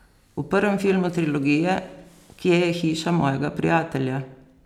V prvem filmu trilogije, Kje je hiša mojega prijatelja?